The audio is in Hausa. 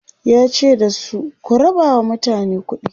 yace da su "ku rabawa mutane kuɗi!"